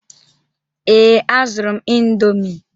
Ee, a zụrụ m indọmii.